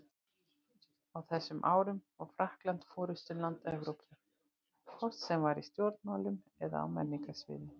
Á þessum árum var Frakkland forystuland Evrópu, hvort sem var í stjórnmálum eða á menningarsviðinu.